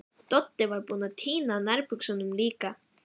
Doddi var búinn að týna nærbuxunum líka.